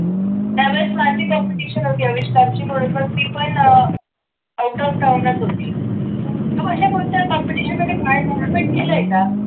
त्यावेळेस माझी competition होती आविष्काराची म्हणून ती पण out of town च होती तर अशा कोणत्या competition मध्ये participate केलंय का?